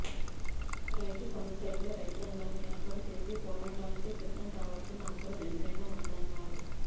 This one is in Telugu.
రైతు సమస్యలపై రైతాంగాన్ని ఏకం చేసి పోరాటానికి సిద్ధం కావాల్సిన అవసరం ఎంతైనా ఉందన్నారు